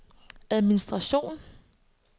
administration